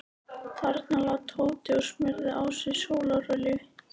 Þarna lá Tóti og smurði á sig sólarolíu.